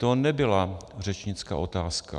To nebyla řečnická otázka.